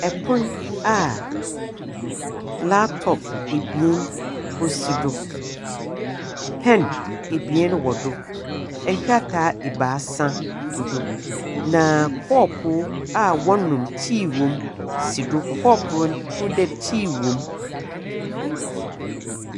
Ɛpon a laptop ebien ɔsi do. Pen ebien wɔ do, nkrataa ebaasa gu do na kɔpo a ɔnom tea wɔm si do. Na kɔpo hu dɛ tea wɔm.